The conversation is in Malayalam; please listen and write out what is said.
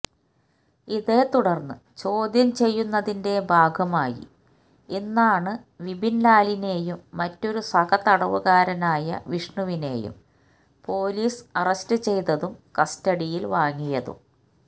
ഇതേത്തുടർന്ന് ചോദ്യം ചെയ്യുന്നതിന്റെ ഭാഗമായി ഇന്നാണ് വിപിൻലാലിനെയും മറ്റൊരു സഹതടവുകാരനായ വിഷ്ണുവിനെയും പൊലീസ് അറസ്റ്റു ചെയ്തതും കസ്റ്റഡിയിൽ വാങ്ങിയതും